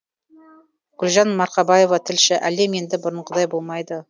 гүлжан марқабаева тілші әлем енді бұрынғыдай болмайды